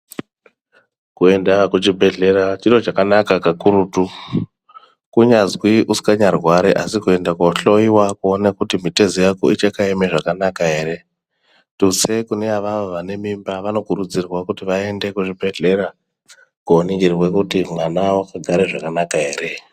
Kuenda kuchibhedhlera chiro chakanaka kakurutu Kunyazi usingacharwari asi kuenda kohloiwa kuona kuti mutezo yako ichakaema zvakanaka here tutse vane mimba vanokurudzirwa kuti vaende kuzvibhedhlera koningirwa kuti mwana akagara zvakanaka here.